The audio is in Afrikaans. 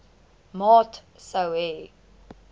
maat sou hê